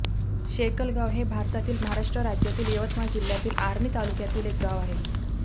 शेकलगाव हे भारतातील महाराष्ट्र राज्यातील यवतमाळ जिल्ह्यातील आर्णी तालुक्यातील एक गाव आहे